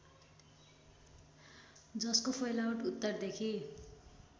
जसको फैलावट उत्तरदेखि